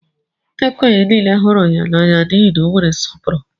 Ndị okenye nile hụrụ ya n'anya n'ihi na o nwere nsọpụrụ.